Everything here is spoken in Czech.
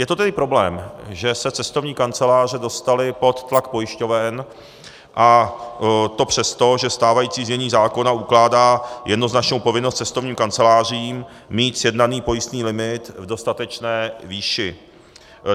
Je to tedy problém, že se cestovní kanceláře dostaly pod tlak pojišťoven, a to přesto, že stávající znění zákona ukládá jednoznačnou povinnost cestovním kancelářím mít sjednaný pojistný limit v dostatečné výši.